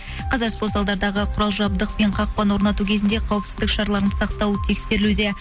қазір спорт залдағы құрал жабдық пен қақпаны орнату кезінде қауіпсіздік шараларының сақталуы тексерілуде